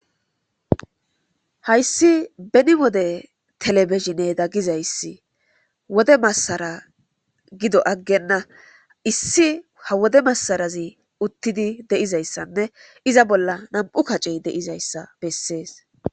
Hayssi beni wode televishinneda gizayssi wode massara gido aggenna. issi ha wode massarazi uttidi de'izayssanne iza bolla nam"u kacey de'izayssa bessees.